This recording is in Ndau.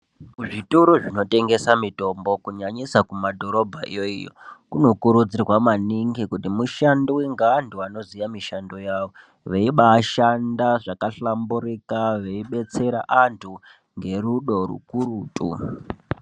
Kuzvitoro zvinotengesa mitombo kunyanyisa kumadhorobhayo iyo kunokurudzirwa maningi kuti mushandiwe ngevantu vanoziya mushando wavo veibashanda zvakahlamburika veibetsera antu ngerudo rukurutu.